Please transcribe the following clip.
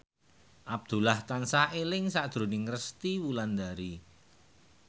Abdullah tansah eling sakjroning Resty Wulandari